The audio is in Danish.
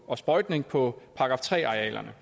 og sprøjtning på § tre arealerne